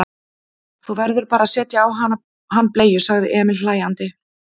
Þú verður bara að setja á hann bleiu, sagði Emil hlæjandi.